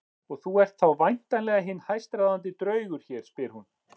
Og þú ert þá væntanlega hinn hæstráðandi draugur hér, spyr hún.